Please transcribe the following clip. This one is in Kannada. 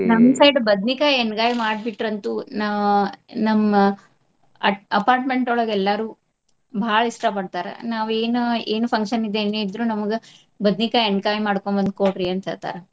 side ಬದ್ನಿಕಾಯಿ ಎಣ್ಗಾಯಿ ಮಾಡ್ಬಿಟ್ರಂತು ನಾ~ ನಮ್ಮ ಅಟ್~ apartment ಒಳಗ ಎಲ್ಲಾರು ಬಾಳ ಇಷ್ಟಾ ಪಡ್ತಾರ. ನಾವ್ ಏನ ಏನು function ಇದ್ ಏನೇ ಇದ್ರು ನಮಗ ಬದ್ನಿಕಾಯಿ ಎಣ್ಗಾಯಿ ಮಾಡ್ಕೊಂಡ್ ಬಂದ್ ಕೊಡ್ರಿ ಅಂತ್ ಹೇಳ್ತಾರ.